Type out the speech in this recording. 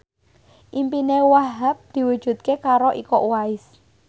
impine Wahhab diwujudke karo Iko Uwais